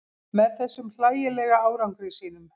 Með þessum hlægilega árangri sínum.